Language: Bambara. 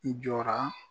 I jɔra